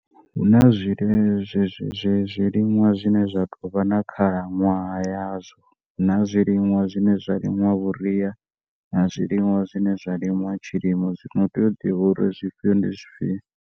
Huna zwiliṅwa zwine zwa tou vha na khalaṅwaha ya zwo huna zwiliṅwa zwine zwa limiwa vhuria na zwiliṅwa zwine zwa limiwa tshilimo zwino utea u ḓIvha uri zwifhio ndi zwifhio.